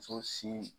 Muso sin